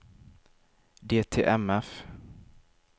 DTMF